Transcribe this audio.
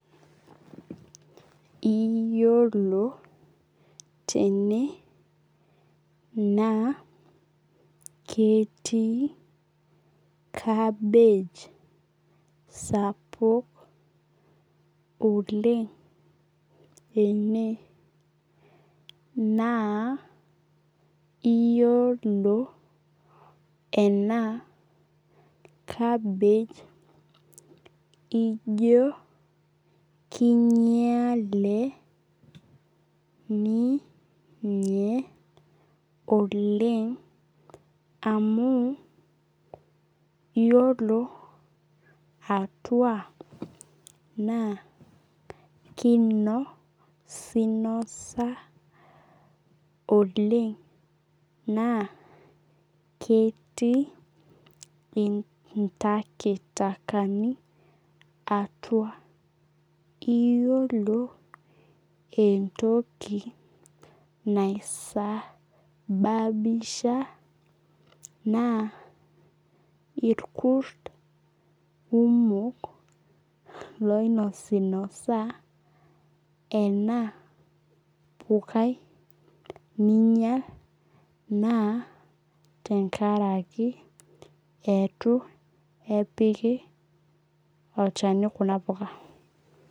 Iyolo tene na ketii kabej sapuk oleng ene naa iyolo ena kabej ijo kinyale ninye oleng amu yiolo atua na kinosinosa oleng na ketii intakitakani atua iyolo entoki naisaabisha na irkurt kumok loinosinosa ena pukai ninyal na tenkaraki itu epiki olchani kuna puka.